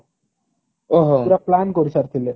ପୁରା plan କରିସାରିଥିଲେ।